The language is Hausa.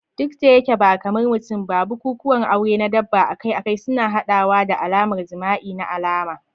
Duk da yake ba kamar mutum ba, bukukuwan aure na dabba akai-akai suna haɗawa da al'adar jima'i na alama.